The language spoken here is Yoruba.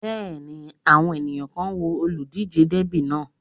Bẹ́ẹ̀ni, àwọn èèyàn kan ń wo olùdíjé Dẹ́bì náà